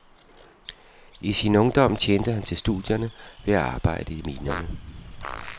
I sin ungdom tjente han til studierne ved at arbejde i minerne.